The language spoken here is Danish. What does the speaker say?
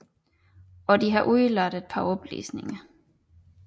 Og de har udeladt et par oplysninger